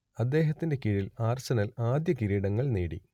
അദ്ദേഹത്തിന്റെ കീഴിൽ ആഴ്സണൽ ആദ്യ കിരീടങ്ങൾ നേടി